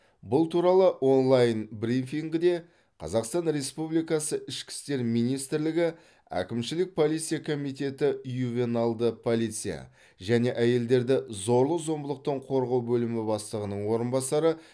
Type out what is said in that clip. бұл туралы онлайн брифингіде қазақстан республикасы ішкі істер министрлігі әкімшілік полиция комитеті ювеналды полиция және әйелдерді зорлық зомбылықтан қорғау бөлімі бастығының орынбасары